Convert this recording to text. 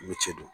I ni ce